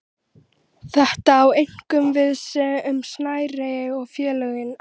Þetta á einkum við um smærri félögin.